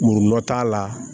Murun dɔ t'a la